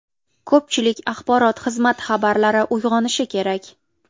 Ko‘pchilik axborot xizmati rahbarlari uyg‘onishi kerak.